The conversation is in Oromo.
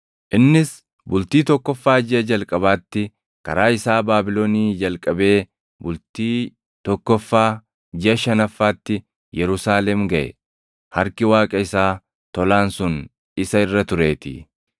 Innis bultii tokkoffaa jiʼa jalqabaatti karaa isaa Baabilonii jalqabee bultii tokkoffaa jiʼa shanaffaatti Yerusaalem gaʼe; harki Waaqa isaa tolaan sun isa irra tureetii.